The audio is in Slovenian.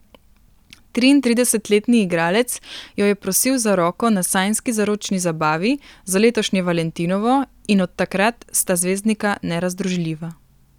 Triintridesetletni igralec jo je prosil za roko na sanjski zaročni zabavi za letošnje valentinovo in od takrat sta zvezdnika nerazdružljiva.